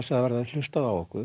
að það verði hlustað á okkur